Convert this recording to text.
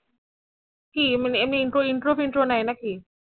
কি মানে intro fintech নয়ে নাকি?